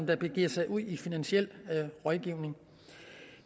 der begiver sig ud i finansiel rådgivning